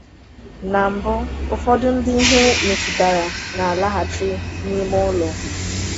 Na mbụ, ụfọdụ ndị ihe metụtara na-alaghachi n’ime ụlọ.